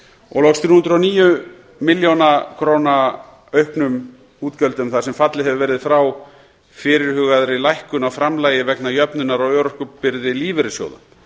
og loks þrjú hundruð og níu milljón króna auknum útgjöldum þar sem fallið hefur verið frá fyrirhugaðri lækkun á framlagi vegna jöfnunar á örorkubyrði lífeyrissjóða